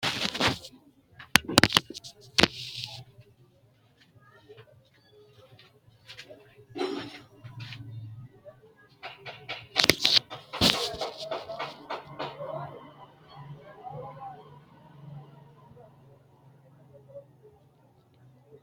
Konni wayi daadano waati. Kunni wayino iiminni dirano foonchoho yinne woshinnanni. Konni foonchi qooxeesira babbaxitino hayisote muronna haqe no. Tinni hayisono saadate sagaleeti.